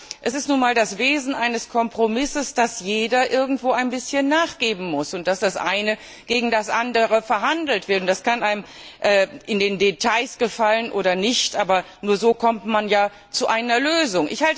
Aber es ist nun einmal das Wesen eines Kompromisses, dass jeder irgendwo ein bisschen nachgeben muss, und dass das eine gegen das andere verhandelt wird. Das kann einem in den Details gefallen oder nicht, aber nur so kommt man zu einer Lösung.